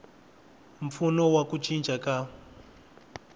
mpfuno wa ku cinca ka